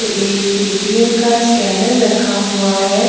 एक पेटीएम का स्कैनर रखा हुआ है।